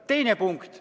Teine punkt.